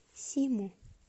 симу